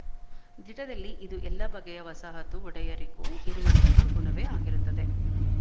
ದಿಟದಲ್ಲಿ ಇದು ಎಲ್ಲಾ ಬಗೆಯ ವಸಾಹತು ಒಡೆಯರಿಗೂ ಇರುವಂತಹ ಗುಣವೇ ಆಗಿರುತ್ತದೆ